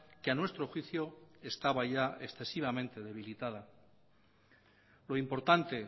que a nuestro juicio estaba ya excesivamente debilitada lo importante